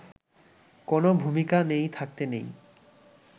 কোনও ভুমিকা নেই থাকতে নেই